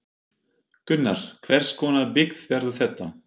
Gunnar, hvers konar byggð verður þetta?